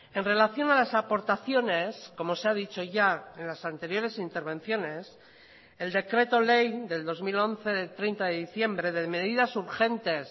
en relación a las aportaciones como se ha dicho ya en las anteriores intervenciones el decreto ley del dos mil once de treinta de diciembre de medidas urgentes